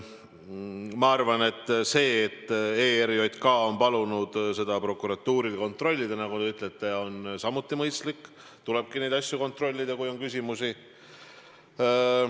Minu arvates see, et ERJK on palunud prokuratuuril seda kontrollida, nagu te ütlete, on samuti mõistlik – tulebki neid asju kontrollida, kui on küsimusi.